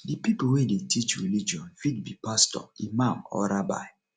di pipo wey dey teach religion fit be pastor imam or rabbi